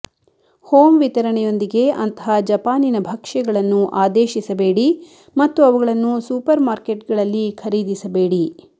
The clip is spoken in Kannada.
ಹೋಮ್ ವಿತರಣೆಯೊಂದಿಗೆ ಅಂತಹ ಜಪಾನಿನ ಭಕ್ಷ್ಯಗಳನ್ನು ಆದೇಶಿಸಬೇಡಿ ಮತ್ತು ಅವುಗಳನ್ನು ಸೂಪರ್ಮಾರ್ಕೆಟ್ಗಳಲ್ಲಿ ಖರೀದಿಸಬೇಡಿ